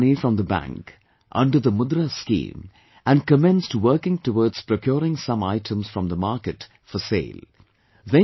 She got some money from the bank, under the 'Mudra' Scheme and commenced working towards procuring some items from the market for sale